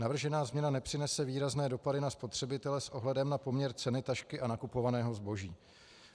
Navržená změna nepřinese výrazné dopady na spotřebitele s ohledem na poměr ceny tašky a nakupovaného zboží.